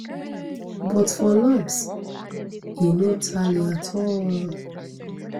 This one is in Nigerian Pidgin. but for lumps e no tally at all